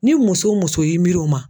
Ni muso muso y'i miiri o ma.